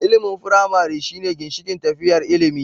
Ilimin firamare shine ginshikin tafiyar ilimi.